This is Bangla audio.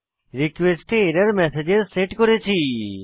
রিকোয়েস্ট এ এরর্মসগ্স সেট করেছি